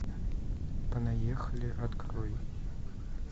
понаехали открой